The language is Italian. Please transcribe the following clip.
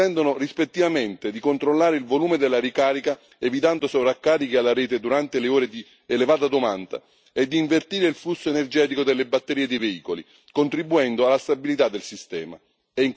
consentono rispettivamente di controllare il volume della ricarica evitando sovraccarichi alla rete durante le ore di elevata domanda, e di invertire il flusso energetico delle batterie dei veicoli, contribuendo alla stabilità del sistema.